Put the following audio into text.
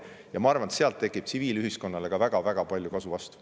Ja ma arvan, et sealt tekib tsiviilühiskonnale ka väga-väga palju kasu.